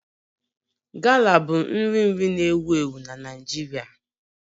Gala bụ nri nri na-ewu ewu na Naịjirịa